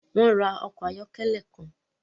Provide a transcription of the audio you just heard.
Wọn n ra ọkọ ayọkẹlẹ kan